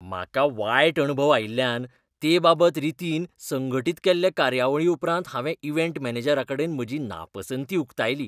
म्हाका वायट अणभव आयिल्ल्यान ते बाबत रितीन संघटीत केल्ले कार्यावळी उपरांत हांवें इव्हेंट मॅनेजराकडेन म्हजी नापसंती उक्तायली.